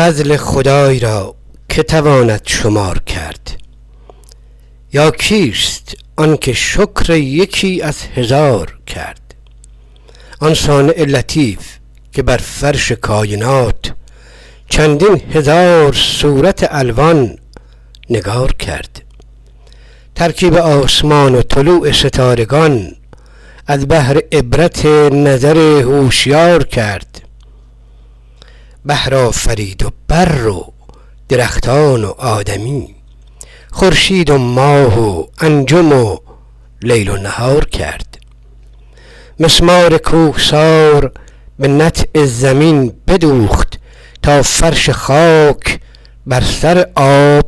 فضل خدای را که تواند شمار کرد یا کیست آنکه شکر یکی از هزار کرد آن صانع قدیم که بر فرش کاینات چندین هزار صورت الوان نگار کرد ترکیب آسمان و طلوع ستارگان از بهر عبرت نظر هوشیار کرد بحر آفرید و بر و درختان و آدمی خورشید و ماه و انجم و لیل و نهار کرد الوان نعمتی که نشاید سپاس گفت اسباب راحتی که نشاید شمار کرد آثار رحمتی که جهان سر به سر گرفت احمال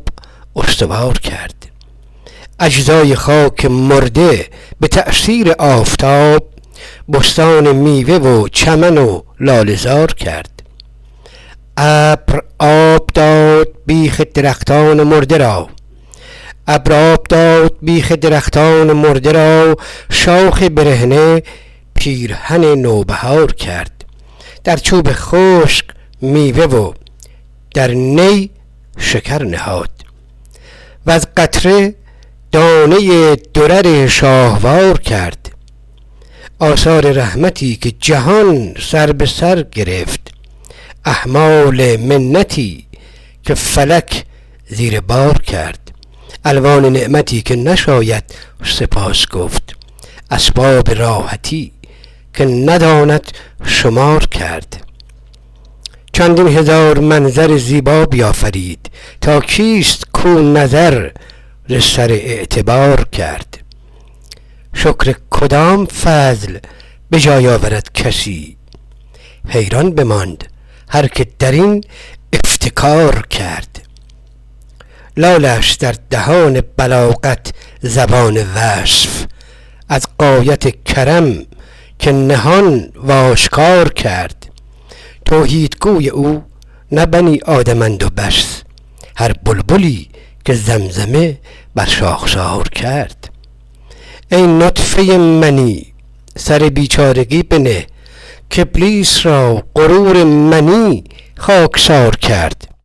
منتی که فلک زیر بار کرد از چوب خشک میوه و در نی شکر نهاد وز قطره دانه ای درر شاهوار کرد مسمار کوهسار به نطع زمین بدوخت تا فرش خاک بر سر آب استوار کرد اجزای خاک مرده به تأثیر آفتاب بستان میوه و چمن و لاله زار کرد این آب داد بیخ درختان تشنه را شاخ برهنه پیرهن نوبهار کرد چندین هزار منظر زیبا بیافرید تا کیست کو نظر ز سر اعتبار کرد توحیدگوی او نه بنی آدمند و بس هر بلبلی که زمزمه بر شاخسار کرد شکر کدام فضل به جای آورد کسی حیران بماند هر که درین افتکار کرد گویی کدام روح که در کالبد دمید یا عقل ارجمند که با روح یار کرد لالست در دهان بلاغت زبان وصف از غایت کرم که نهان و آشکار کرد سر چیست تا به طاعت او بر زمین نهند جان در رهش دریغ نباشد نثار کرد بخشنده ای که سابقه فضل و رحمتش ما را به حسن عاقبت امیدوار کرد پرهیزگار باش که دادار آسمان فردوس جای مردم پرهیزگار کرد نابرده رنج گنج میسر نمی شود مزد آن گرفت جان برادر که کار کرد هر کو عمل نکرد و عنایت امید داشت دانه نکاشت ابله و دخل انتظار کرد دنیا که جسر آخرتش خواند مصطفی جای نشست نیست بباید گذار کرد دارالقرار خانه جاوید آدمیست این جای رفتنست و نشاید قرار کرد چند استخوان که هاون دوران روزگار خردش چنان بکوفت که خاکش غبار کرد ظالم بمرد و قاعده زشت از او بماند عادل برفت و نام نکو یادگار کرد عیسی به عزلت از همه عالم کناره جست محبوبش آرزوی دل اندر کنار کرد قارون ز دین برآمد و دنیا برو نماند بازی رکیک بود که موشی شکار کرد ما اعتماد بر کرم مستعان کنیم کان تکیه باد بود که بر مستعار کرد بعد از خدای هرچه پرستند هیچ نیست بی دولت آنکه بر همه هیچ اختیار کرد وین گوی دولتست که بیرون نمی برد الا کسی که در ازلش بخت یار کرد بیچاره آدمی چه تواند به سعی و رنج چون هرچه بودنیست قضا کردگار کرد او پادشاه و بنده و نیک و بد آفرید بدبخت و نیک بخت و گرامی و خوار کرد سعدی به هر نفس که برآورد چون سحر چون صبح در بسیط زمین انتشار کرد هر بنده ای که خاتم دولت به نام اوست در گوش دل نصیحت او گوشوار کرد بالا گرفت و دولت والا امید داشت هر شاعری که مدح ملوک دیار کرد شاید که التماس کند خلعت مزید سعدی که شکر نعمت پروردگار کرد